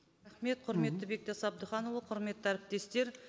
құрметті бектас әбдіханұлы құрметті әріптестер